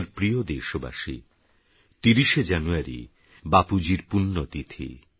আমারপ্রিয়দেশবাসী ৩০শেজানুয়ারিবাপুজীরপুণ্যতিথি